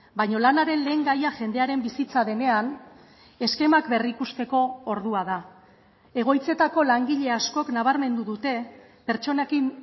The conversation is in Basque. baina lanaren lehengaia jendearen bizitza denean eskemak berrikusteko ordua da egoitzetako langile askok nabarmendu dute pertsonekin